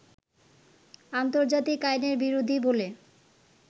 আন্তর্জাতিক আইনের বিরোধী বলে